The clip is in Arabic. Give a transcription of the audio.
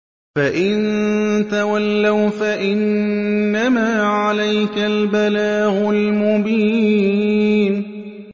فَإِن تَوَلَّوْا فَإِنَّمَا عَلَيْكَ الْبَلَاغُ الْمُبِينُ